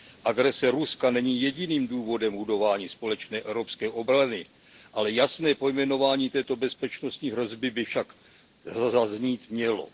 Agrese Ruska není jediným důvodem budování společné evropské obrany, ale jasné pojmenování této bezpečnostní hrozby by zaznít mělo.